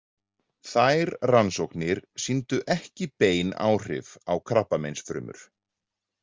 Þær rannsóknir sýndu ekki bein áhrif á krabbameinsfrumur.